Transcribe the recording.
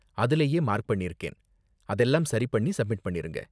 அதுலயே மார்க் பண்ணிருக்கேன், அதெல்லாம் சரி பண்ணி சப்மிட் பண்ணிருங்க.